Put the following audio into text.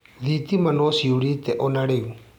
Thitima no ciũrĩte ona rĩu?